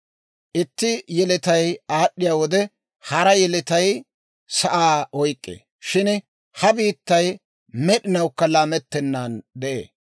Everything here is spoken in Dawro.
Itti yeletay aad'd'iyaa wode, hara yeletay sa'aa oyk'k'ee. Shin ha biittay med'inawukka laamettennan de'ee.